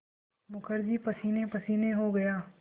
मुखर्जी पसीनेपसीने हो गया